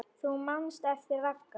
Þú manst eftir Ragga.